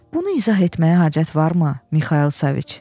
Bunu izah etməyə hacət varmı, Mixayıl Səviç?